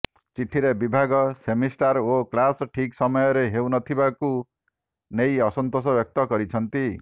ଚିଠିରେ ବିଭାଗ ସେମିଷ୍ଠାର ଓ କ୍ଲାସ ଠିକ ସମୟରେ ହେଉ ନ ଥିବାକୁ ନେଇ ଅସନ୍ତୋଷ ବ୍ୟକ୍ତ କରିଛନ୍ତି